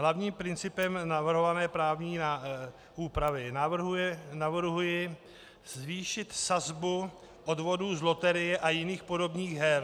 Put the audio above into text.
Hlavním principem navrhované právní úpravy navrhuji zvýšit sazbu odvodů z loterie a jiných podobných her.